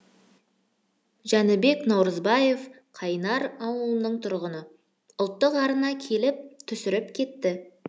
жәнібек наурызбаев қайнар ауылының тұрғыны ұлттық арна келіп түсіріп кетті